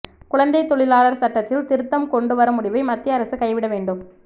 குழந்தைத் தொழிலாளர் சட்டத்தில் திருத்தம் கொண்டுவரும் முடிவை மத்திய அரசு கைவிட வேண்டும்